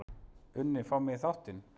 unni fá mig í þáttinn?